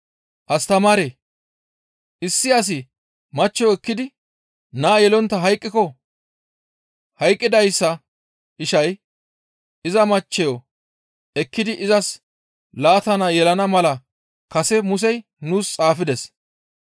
«Astamaaree! Issi asi machcho ekkidi naa yelontta hayqqiko hayqqidayssa ishay iza machcheyo ekkidi izas laata naa yelana mala kase Musey nuus xaafides.